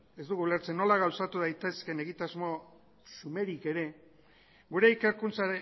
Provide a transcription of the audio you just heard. ez dugu ulertzen nola gauzatu daitezkeen egitasmo xumerik ere gure ikerkuntza